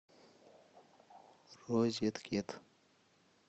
розеткед